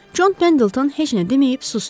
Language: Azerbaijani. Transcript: Con Pendelton heç nə deməyib susdu.